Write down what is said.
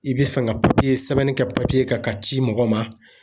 I be fɛn ka sɛbɛnni kɛ ka ci mɔgɔ ma